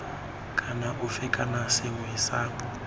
kana ofe kana sethwe sa